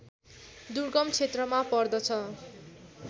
दुर्गम क्षेत्रमा पर्दछ